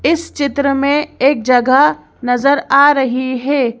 इस चित्र में एक जगह नजर आ रही है।